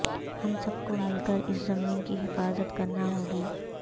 ہم سب کو مل کر اس زمین کی حفاظت کرنا ہو گی